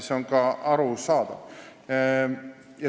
See on ka arusaadav.